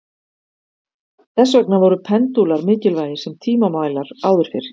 þess vegna voru pendúlar mikilvægir sem tímamælar áður fyrr